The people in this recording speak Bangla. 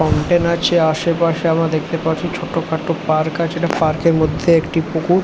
ফাউন্টেন আছে আশেপাশে আমরা দেখতে পাচ্ছি ছোটখাটো পার্ক আছে এটা পার্ক -এর মধ্যে একটি পুকুর।